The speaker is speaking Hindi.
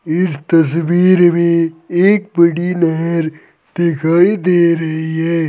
इस तस्वीर में एक बड़ी नहर दिखाई दे रही है।